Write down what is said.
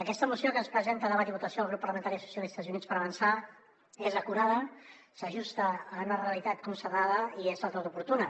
aquesta moció que ens presen·ta a debat i votació el grup parlamentari socialistes i units per avançar és acurada s’ajusta a una realitat constatada i és del tot oportuna